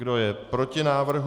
Kdo je proti návrhu?